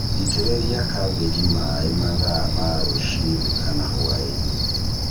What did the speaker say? ĩtĩrĩria kambĩnji maĩ mathaa ma rũcinĩ kana hwaĩinĩ.